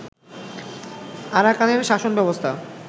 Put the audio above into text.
আরাকানের শাসনব্যবস্থা